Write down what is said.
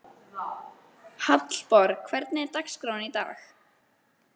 Hallborg, hvernig er dagskráin í dag?